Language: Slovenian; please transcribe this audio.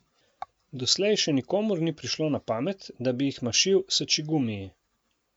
Doslej še nikomur ni prišlo na pamet, da bi jih mašil s čikgumiji.